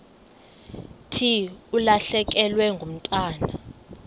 thi ulahlekelwe ngumntwana